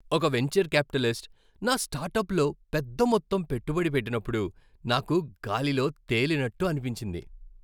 ఒక venture capitalist నా స్టార్టప్లో పెద్ద మొత్తం పెట్టుబడి పెట్టినప్పుడు నాకు గాలిలో తేలినట్టు అనిపించింది.